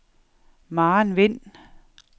Maren Wind